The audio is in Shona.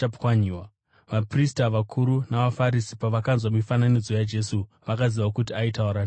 Vaprista vakuru navaFarisi pavakanzwa mifananidzo yaJesu, vakaziva kuti aitaura nezvavo.